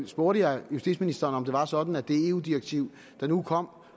spurgte jeg justitsministeren om det var sådan at det eu direktiv der nu kom